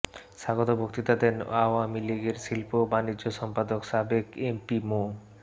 স্বাগত বক্তৃতা দেন আওয়ামী লীগের শিল্প ও বাণিজ্য সম্পাদক সাবেক এমপি মো